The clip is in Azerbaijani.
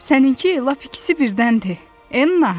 Sənin ki, lap ikisi birdəndir, Enna.